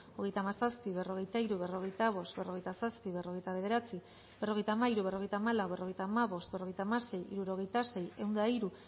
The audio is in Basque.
hogeita hamazazpi berrogeita hiru berrogeita bost berrogeita zazpi berrogeita bederatzi berrogeita hamairu berrogeita hamalau berrogeita hamabost berrogeita hamasei hirurogeita sei ehun eta hiru